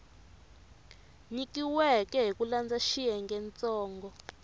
nyikiweke hi ku landza xiyengentsongo